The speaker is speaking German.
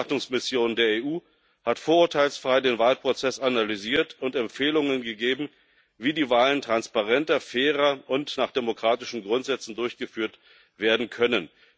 Die Wahlbeobachtungsmission der EU hat vorurteilsfrei den Wahlprozess analysiert und Empfehlungen gegeben, wie die Wahlen transparenter, fairer und nach demokratischen Grundsätzen durchgeführt werden können.